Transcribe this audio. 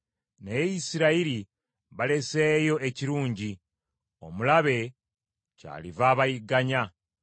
Naye Isirayiri baleseeyo ekirungi; omulabe kyaliva abayigganya.